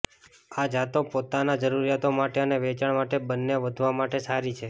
આ જાતો પોતાના જરૂરિયાતો માટે અને વેચાણ માટે બંને વધવા માટે સારી છે